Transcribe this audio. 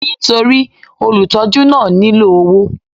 Nítorí olùtọ́jú náà nílò owó.